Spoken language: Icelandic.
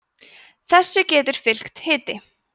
þessu getur fylgt hiti